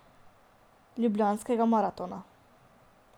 Ljubljanskega maratona.